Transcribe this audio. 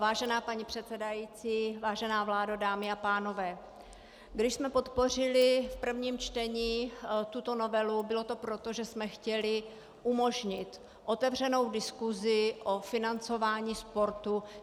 Vážená paní předsedající, vážená vládo, dámy a pánové, když jsme podpořili v prvním čtení tuto novelu, bylo to proto, že jsme chtěli umožnit otevřenou diskusi o financování sportu.